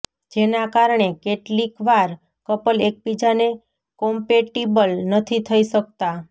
જેના કારણે કેટલીકવાર કપલ એકબીજાને કોમ્પેટિબલ નથી થઈ શકતા